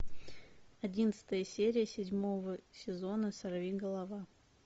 одиннадцатая серия седьмого сезона сорвиголова